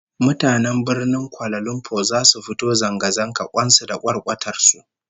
Mutanen Birnin Kuala Lumpur zasu fito zanga zanga kwan su da kwarkwatar su